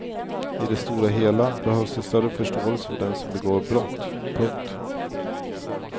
I det stora hela behövs det större förståelse för den som begår brott. punkt